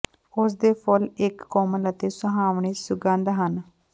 ਉਸ ਦੇ ਫੁੱਲ ਇੱਕ ਕੋਮਲ ਅਤੇ ਸੁਹਾਵਣੇ ਸੁਗੰਧ ਹਨ